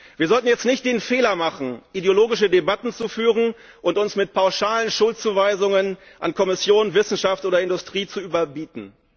Wir sollten jetzt nicht den Fehler machen, ideologische Debatten zu führen und uns mit pauschalen Schuldzuweisungen an Kommission, Wissenschaft oder Industrie zu überbieten.